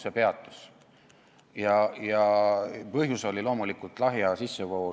See peatus ja põhjus oli loomulikult lahja alkoholi sissevool.